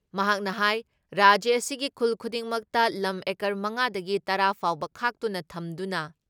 ꯃꯍꯥꯛꯅ ꯍꯥꯏ ꯔꯥꯖ꯭ꯌ ꯑꯁꯤꯒꯤ ꯈꯨꯜ ꯈꯨꯗꯤꯡꯃꯛꯇ ꯂꯝ ꯑꯦꯀꯔ ꯃꯉꯥ ꯗꯒꯤ ꯇꯔꯥ ꯐꯥꯎꯕ ꯈꯥꯛꯇꯨꯅ ꯊꯝꯗꯨꯅ